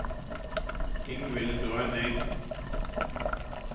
Ingvild Grønning